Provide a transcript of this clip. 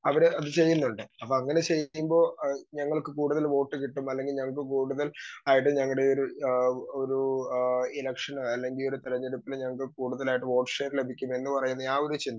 Speaker 2 അവരത് ചെയ്യുന്നുണ്ട്. അപ്പോ അങ്ങനെ ചെയ്യുമ്പോ അഹ് ഞങ്ങൾക്ക് കൂടുതൽ വോട്ട് കിട്ടും. അല്ലെങ്കിൽ ഞങ്ങൾക്ക് കൂടുതൽ ആയിട്ട് ഞങ്ങളുടെയൊരു അഹ് ഒരു അഹ് ഇലക്ഷന് അല്ലെങ്കിൽ ഒരു തെരഞ്ഞെടുപ്പിന് ഞങ്ങൾക്ക് കൂടുതൽ ആയിട്ട് വോട്ട് ഷെയർ ലഭിക്കുമെന്ന് പറയുന്ന ആ ഒരു